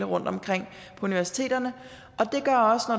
rundtomkring på universiteterne